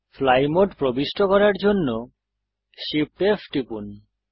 fly mode প্রবিষ্ট করার জন্য Shift F টিপুন